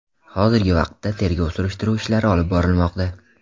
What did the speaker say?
Hozirgi vaqtda tergov-surishtiruv ishlari olib borilmoqda.